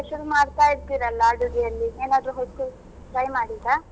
Special ಮಾಡ್ತಾ ಇರ್ತಿರಲ್ಲ ಅಡುಗೆಯಲ್ಲಿ ಏನಾದ್ರು ಹೊಸ್ತು try ಮಾಡಿದ್ರ?